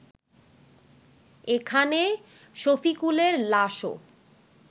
এখানে শফিকুলের লাশও